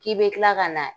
K'i bɛ kila ka na